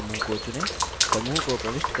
सफेद बादल समूह को चुनें